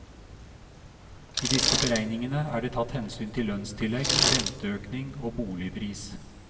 I disse beregningene er det tatt hensyn til lønnstillegg, renteøkning og boligpris.